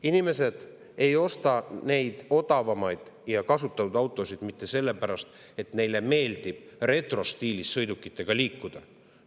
Inimesed ei osta odavamaid kasutatud autosid mitte sellepärast, et neile meeldib retrostiilis sõidukitega liikuda.